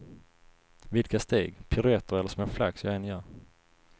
Vilka steg, piruetter eller små flax jag än gör.